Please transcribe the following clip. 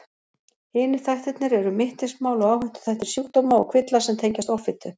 Hinir þættirnir eru mittismál og áhættuþættir sjúkdóma og kvilla sem tengjast offitu.